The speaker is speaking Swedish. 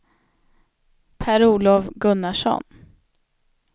Per-Olof Gunnarsson